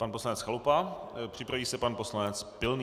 Pan poslanec Chalupa, připraví se pan poslanec Pilný.